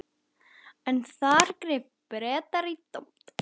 En þar gripu Bretar í tómt.